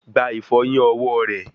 Gba ìfọyín ọwọ rẹ